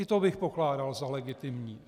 I to bych pokládal za legitimní.